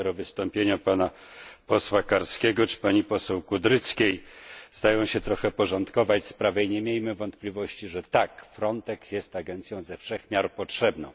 Dopiero wystąpienia pana posła Karskiego czy pani poseł Kudryckiej zdają się trochę uporządkować sprawę i nie miejmy wątpliwości, że tak Frontex jest agencją ze wszech miar potrzebną.